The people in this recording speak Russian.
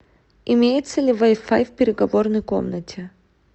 имеется ли вай фай в переговорной комнате